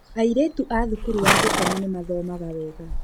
Airĩtu a thukuru wa gũkoma nĩ mathomaga wega.